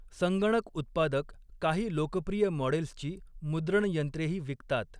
संगणक उत्पादक काही लोकप्रिय मॉडेल्सची मुद्रणयंत्रेही विकतात.